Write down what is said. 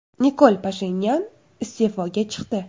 Nikol Pashinyan iste’foga chiqdi.